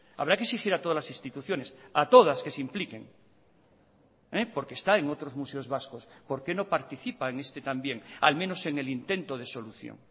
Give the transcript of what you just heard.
habrá que exigir a todas las instituciones a todas que se impliquen porque está en otros museos vascos por qué no participa en este también al menos en el intento de solución